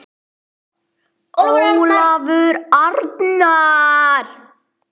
Ólafur Arnar.